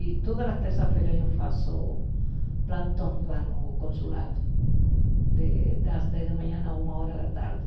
E todas as terças-feiras eu faço plantão lá no consulado, de das dez da manhã a uma hora da tarde.